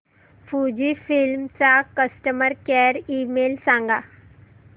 Fujifilm चा customer care email सांगा